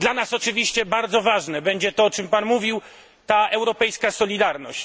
Dla nas oczywiście bardzo ważne będzie to, o czym Pan mówił, ta europejska solidarność.